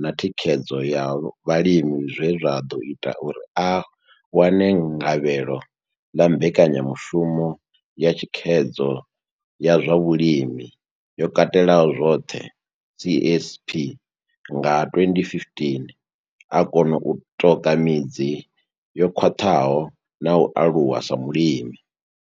na Thikhedzo ya Vhalimi zwe zwa ḓo ita uri a wane ngavhelo ḽa Mbekanya mushumo ya Thikhedzo ya zwa Vhulimi yo Katelaho zwoṱhe, CASP, nga 2015, o kona u ṱoka midzi yo khwaṱhaho na u aluwa sa mulimi.